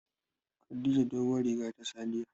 Khadija doguwar riga ta sa jiya.